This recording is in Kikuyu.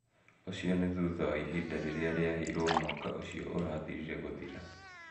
Ũcio nĩ thutha wa ihinda rĩrĩa rĩaheirwo mwaka ũcio ũrathirire gũthira.